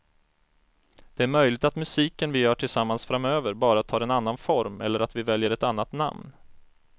Det är möjligt att musiken vi gör tillsammans framöver bara tar en annan form eller att vi väljer ett annat namn.